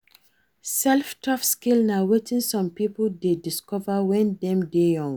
Self taught skill na wetin some pipo de discover when Dem de young